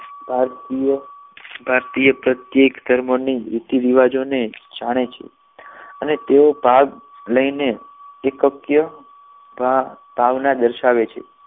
ભારતીય ભારતીય પ્રત્યેક ધર્મની રીતિરિવાજો ને જાણે છે તેઆઓ ભાગ લઈને એકય ભાવ ભાવના દર્શાવે છે